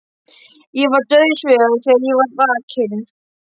Ég var dauðsyfjaður þegar ég var vakinn.